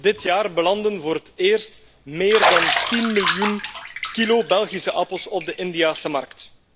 Dit jaar belandden voor het eerst meer dan 10 miljoen kilo Belgische appels op de Indiase markt.